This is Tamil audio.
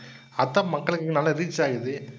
அதான் மக்களுக்கு நல்லா reach ஆகுது.